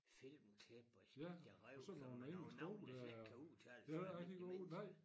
Filmklip og sikke de rev sig med nogen navne der slet ikke kan udtales for almindelige mennesker